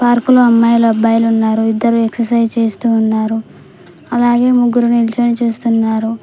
Park లో అమ్మాయిల అబ్బాయిలు ఉన్నారు ఇద్దరు ఎక్సర్సైజ్ చేస్తూ ఉన్నారు అలాగే ముగ్గురు నిల్చుని చూస్తున్నారు.